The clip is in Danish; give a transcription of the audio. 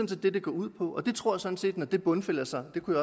det det går ud på jeg tror sådan set at når det bundfælder sig det kunne